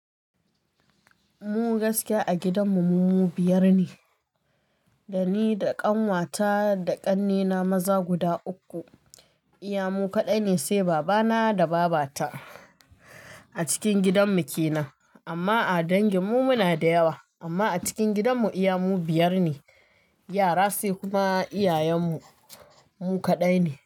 Mu gaskiya a gidanmu mu biyar ne, da ni da ƙanwata da ƙannena maza guda uku. Iya mu kaɗai ne, sai babana da babata. A cikin gidanmu ke nan, amma a danginmu muna da yawa. Amma a cikin gidanmu, iya mu biyar ne yara, sai kuma iyayenmu mu kaɗai ne.